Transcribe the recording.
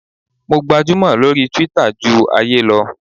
Mo gbajúmò lórí Twitter ju ojú ayé lọ.